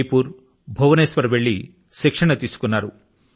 జయపుర్ కు భువనేశ్వర్ కు వెళ్లి శిక్షణ తీసుకొన్నారు